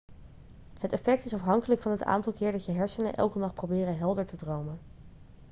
het effect is afhankelijk van het aantal keer dat je hersenen elke nacht proberen helder te dromen